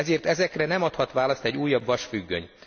Ezért ezekre nem adhat választ egy újabb vasfüggöny.